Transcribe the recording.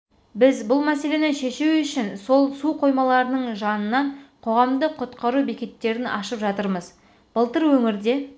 біз бұл мәселені шешу үшін сол су қоймаларының жанынан қоғамдық құтқару бекеттерін ашып жатырмыз былтыр өңірде